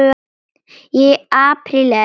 Í apríl er